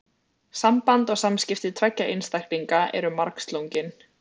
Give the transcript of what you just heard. Samband og samskipti tveggja einstaklinga eru margslungin.